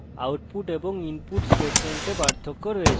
এছাড়াও output এবং input statements পার্থক্য আছে